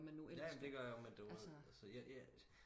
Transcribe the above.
ja men det gør jeg også men du ved så jeg jeg